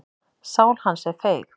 Sál hans er feig.